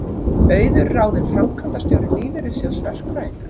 Auður ráðin framkvæmdastjóri Lífeyrissjóðs verkfræðinga